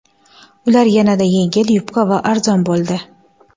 Ular yanada yengil, yupqa va arzon bo‘ldi.